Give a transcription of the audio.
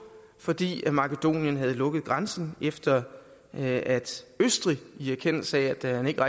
fordi makedonien havde lukket grænsen efter at østrig i erkendelse af at man ikke